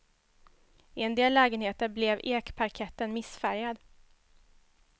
I en del lägenheter blev ekparketten missfärgad.